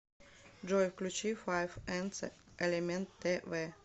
джой включи файф энцэ элемент тэ вэ